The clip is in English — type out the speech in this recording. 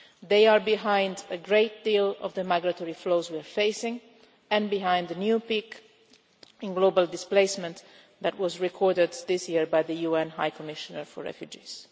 They are behind a great deal of the migratory flows we are facing and behind the new peak in global displacement that was recorded this year by the UN High Commissioner for Refugees.